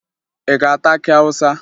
Ị ga-ata akị Awụsa?